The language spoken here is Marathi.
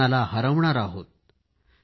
कोरोनाला हरवणार आहोत